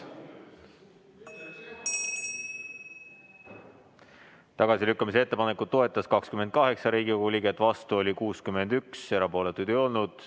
Tagasilükkamise ettepanekut toetas 28 Riigikogu liiget, vastu oli 61, erapooletuid ei olnud.